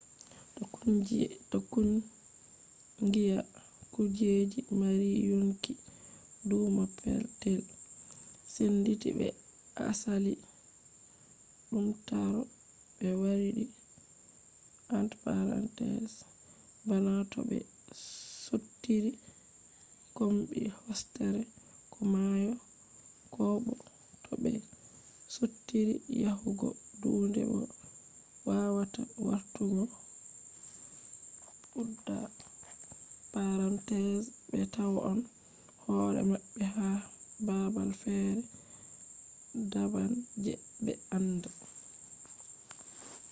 to kungiya kujeje mari yonkiduumaa petel senditi be asali duummatore be wardibana to be sottiri kombi hosere ko mayo koobo to be sottiri yahugo duunde bo be wawata wartugo be tawon hore mabbe ha babal fere daban je be anda